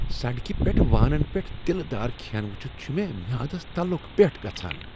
سڑکہ پیٹھ وانن پٮ۪ٹھ تیلہ دار کھٮ۪ن وٖچھتھ چھ مےٚ میٛادس تلٗک پٮ۪ٹھ گژھان۔